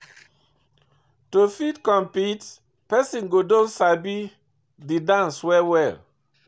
to fit compete, person go don sabi di dance well well